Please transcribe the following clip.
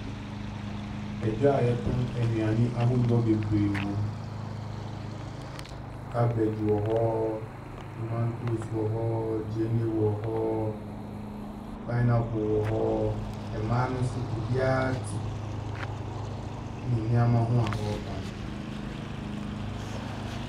Dwa a wɔtɔn nnuane ahodoɔ bebree wɔ mu. Cabbage wɔ hɔ, tomatoes wɔ hɔ, gyeene wɔ hɔ, pinapple wɔ hɔ. Mmaa no nso obiara te ne neɛma ho a ɔretɔn.